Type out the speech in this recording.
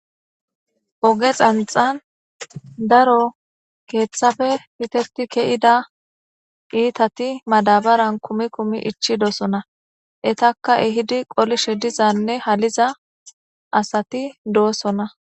Oge xanxan daro kethaoe fiteti ke'ida itati madabaran kumi kumi ichidosona etaka ehidi qolishene halishe diza asati dosona